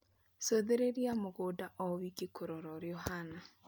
Cũthĩrĩria mũgũnda o wiki kũrora ũria ũhana